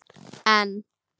En